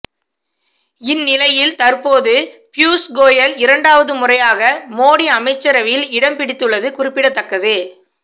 இந்நிலையில் தற்போது பியூஷ் கோயல் இரண்டாவது முறையாக மோடி அமைச்சரவையில் இடம் பிடித்துள்ளது குறிப்பிடத்தக்கது